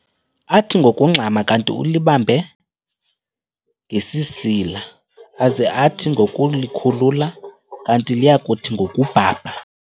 Athi ngokungxama, kanti ulibambe ngesisila, aze athi ngokulikhulula kanti liyakuthi ngokubhabha.